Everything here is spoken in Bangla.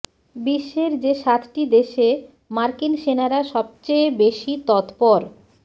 বিশ্বের যে সাতটি দেশে মার্কিন সেনারা সবচেয়ে বেশি তৎপর